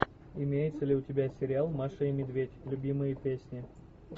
имеется ли у тебя сериал маша и медведь любимые песни